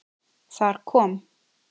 Þar kom